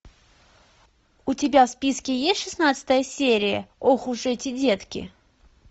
у тебя в списке есть шестнадцатая серия ох уж эти детки